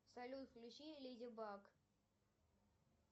салют включи леди баг